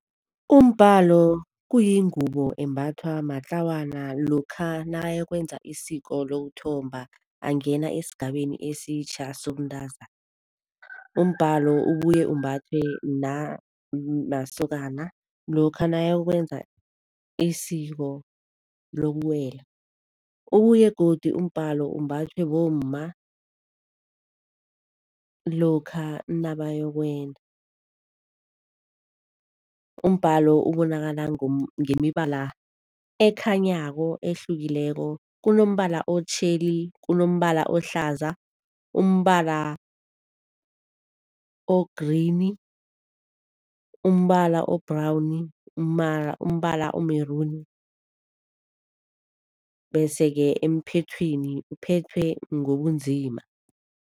Umbalo kuyingubo embathwa matlawana lokha nakayokwenza isiko lokuthomba, angena esigabeni esitjha sobuntazana. Umbalo ubuye umbathwe namasokana lokha nakayokwenza isiko lokuwela. Ubuye godu umbalo umbathwe bomma lokha nabayokwenda. Umbalo ubonakala ngemibala ekhanyako ehlukileko, kunombala otjheli, kunombala ohlaza, umbala o-green, umbala o-brown, umbala o-maroon, bese-ke emphethweni uphethwe ngobunzima.